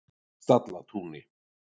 Stallatúni